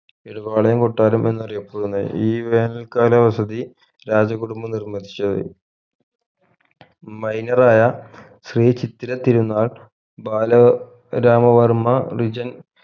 ഇടവാളയം കൊട്ടാരം എന്നറിയപ്പെടുന്ന ഈ വേനൽ കാല ആസ്വതി രാജ കുടുംബം നിർമ്മതിച്ചത് minor ആയ ശ്രീ ചിത്തിര തിരുന്നാൾ ബാല രാമ വർമ്മ റിജൻ